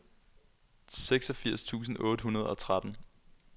seksogfirs tusind otte hundrede og tretten